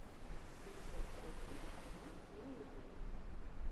найти джек септик ая на ютюбе